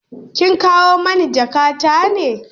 Kin kawo mani jakatar ne?